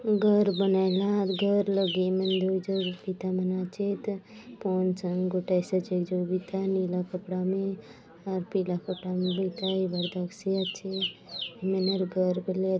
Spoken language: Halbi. घर बनायलाआत घर लगे ये मन दूय झन बिता मन आचेत फ़ोन संग गोठायसी आचे एक जन बिता नीला कपड़ा में अउर पीला कपड़ा ने लेका ए बाटे दखसि आचे हय मनर घर बले --